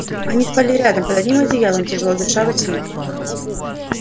они спали рядом под одним одеялом тяжело дыша во сне